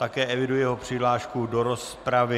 Také eviduji jeho přihlášku do rozpravy.